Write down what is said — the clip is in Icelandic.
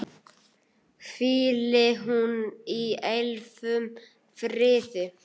Hvíli hún í eilífum friði.